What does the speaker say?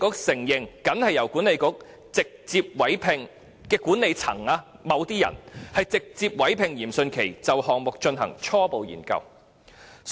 西九管理局其後承認，僅由管理層直接委聘嚴迅奇就項目進行初步研究。